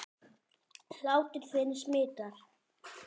Hlátur þinn smitar.